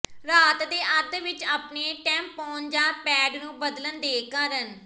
ਰਾਤ ਦੇ ਅੱਧ ਵਿਚ ਆਪਣੇ ਟੈਂਪੋਨ ਜਾਂ ਪੈਡ ਨੂੰ ਬਦਲਣ ਦੇ ਕਾਰਨ